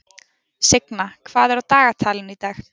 Signa, hvað er á dagatalinu í dag?